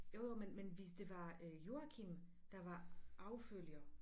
Jo jo men men hvis det var øh Joachim der var arvefølger